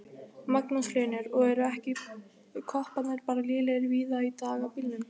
Magnús Hlynur: Og eru ekki kopparnir bara lélegir víða í dag á bílum?